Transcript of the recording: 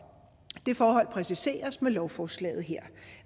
det forhold præciseres med lovforslaget her